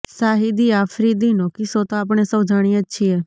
શાહિદી આફ્રિદીનો કિસ્સો તો આપણે સૌ જાણીએ જ છીએ